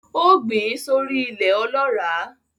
Ó gbìn sórí I ilẹ̀ ọlọ́ràá